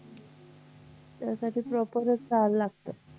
त्यासाठी proper च खायला लागतं